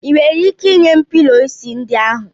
Ị nwere ike nye m pilọ isi ndị ahu?